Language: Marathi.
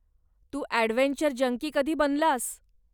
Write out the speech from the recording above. तू अॅडव्हेंचर जंकी कधी बनलास?